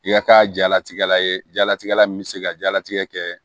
I ka kɛ jalatigɛla ye jalatigɛ la min bɛ se ka diyalatigɛ kɛ